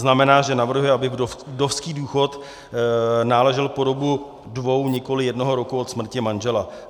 Znamená, že navrhuje, aby vdovský důchod náležel po dobu dvou, nikoliv jednoho roku od smrti manžela.